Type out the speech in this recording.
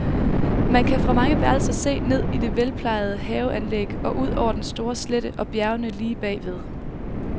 Man kan fra mange værelser se ned i det velplejede haveanlæg og ud over den store slette og bjergene lige bag ved.